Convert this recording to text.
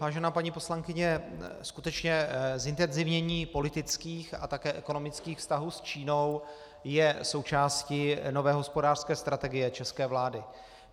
Vážená paní poslankyně, skutečně zintenzivnění politických a také ekonomických vztahů s Čínou je součástí nové hospodářské strategie české vlády.